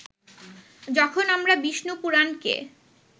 যখন আমরা বিষ্ণুপুরাণকে